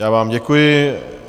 Já vám děkuji.